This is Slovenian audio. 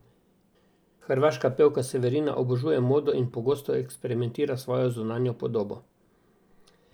Hrvaška pevka Severina obožuje modo in pogosto eksperimentira svojo zunanjo podobo.